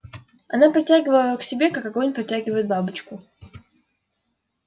она притягивала к себе как огонь притягивает бабочку